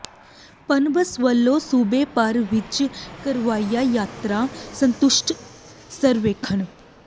ਪਨਬੱਸ ਵੱਲੋਂ ਸੂਬੇ ਭਰ ਵਿੱਚ ਕਰਵਾਇਆ ਯਾਤਰੀ ਸੰਤੁਸ਼ਟੀ ਸਰਵੇਖਣ